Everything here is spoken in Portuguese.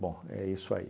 Bom, é isso aí.